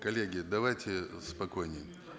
коллеги давайте спокойнее